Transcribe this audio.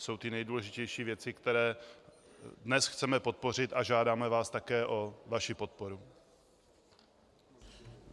Jsou to nejdůležitější věci, které dnes chceme podpořit, a žádáme vás také o vaši podporu.